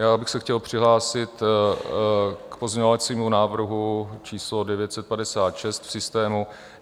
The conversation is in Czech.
Já bych se chtěl přihlásit k pozměňovacímu návrhu číslo 956 v systému.